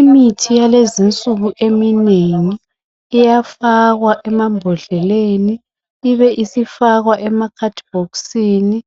imithi yalezinsuku eminengi iyafakwa emabhodleleni ibe isifakwa emakhadibhokisini